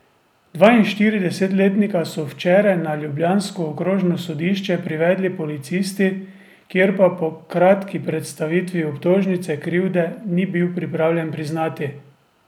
Dvainštiridesetletnika so včeraj na ljubljansko okrožno sodišče privedli policisti, kjer pa po kratki predstavitvi obtožnice krivde ni bil pripravljen priznati.